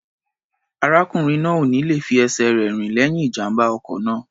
Arákùnrin náà ò ní le fi ẹsẹ̀ rẹ̀ rìn lẹ́yìn ìjàm̀bá ọkọ̀ náà.